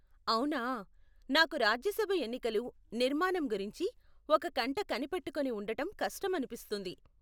అవునా. నాకు రాజ్యసభ ఎన్నికలు, నిర్మాణం గురించి ఒక కంట కనిపెట్టుకొని ఉండటం కష్టం అనిపిస్తుంది.